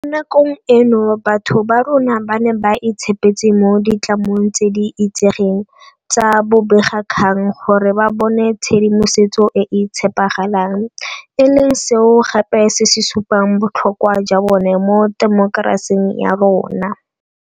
Mo nakong eno batho ba rona ba ne ba itshepetse mo ditlamong tse di itsegeng tsa bobegakgang gore ba bone tshedimosetso e e tshepagalang, e leng seo gape se supang botlhokwa jwa bone mo temokerasing ya rona.